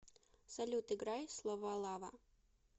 салют играй словалава